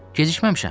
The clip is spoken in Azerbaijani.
Gecikməmişəm?